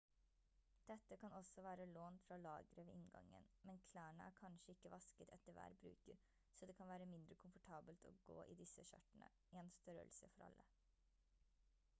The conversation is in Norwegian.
dette kan også være lånt fra lageret ved inngangen men klærne er kanskje ikke vasket etter hver bruker så det kan være mindre komfortabelt å gå i disse skjørtene en størrelse for alle